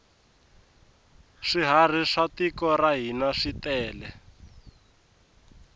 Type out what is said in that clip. swiharhi swa tiko ra hina switele